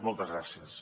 moltes gràcies